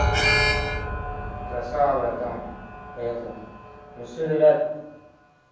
красава братан это ну все ребят